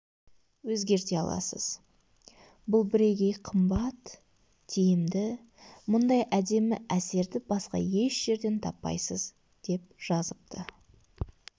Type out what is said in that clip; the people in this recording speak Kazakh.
өзгерте аласыз бұл бірегей қымбат тиімді мұндай әдемі әсерді басқа еш жерден таппайсыз деп жазыпты